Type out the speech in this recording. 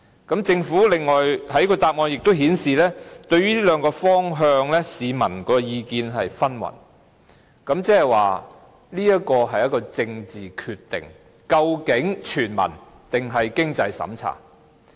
此外，政府在主體答覆亦表示，對於這兩個方向，市民的意見紛紜，即是說，這是一個政治決定：究竟全民的還是設有經濟審查的。